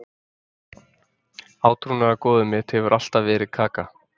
Átrúnaðargoðið mitt hefur alltaf verið Kaka.